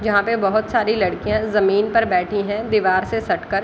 यहाँ पे बहुत सारी लड़कियाँ जमीन पर बैठी हैं दिवार से सट कर |